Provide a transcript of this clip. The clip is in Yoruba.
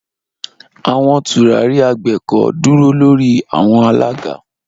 Awọn turari agbeko duro lori awọn alaga.